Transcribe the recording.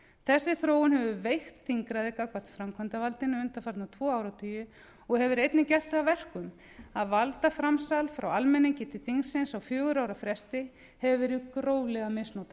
þessi þróun hefur veikt þingræðið gagnvart framkvæmdarvaldinu undanfarna tvo áratugi og hefur einnig gert það að verkum að valdaframsal frá almenningi til þingsins á fjögurra ára fresti hefur verið gróflega misnotað